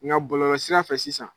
Ŋa bɔlɔlɔsira fɛ sisan